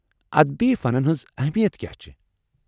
ادبی فنن ہنز اہمیت کیا چھےٚ؟